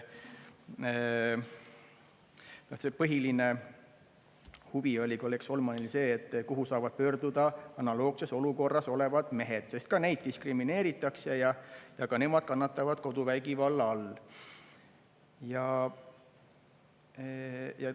Põhiline huvi oli kolleeg Solmanil see, et kuhu saavad pöörduda analoogses olukorras olevad mehed, sest ka neid diskrimineeritakse ja ka nemad kannatavad koduvägivalla all.